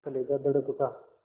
कलेजा धड़क उठा